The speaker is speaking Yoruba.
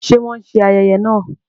Ṣe wọn ṣe ayẹyẹ náà?